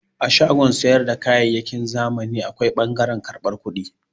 A shagon sayar da kayyayyaki na zamani akwai ɓangaren karban kudi.